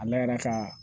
A layɛra ka